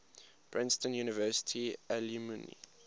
princeton university alumni